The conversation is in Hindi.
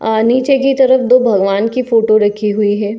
और नीचे की तरफ दो भगवान की फोटो रखी हुई है।